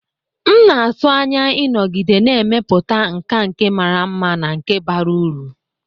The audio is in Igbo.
M na-atụ anya ịnọgide na-emepụta nkà nke mara mma na nke bara uru.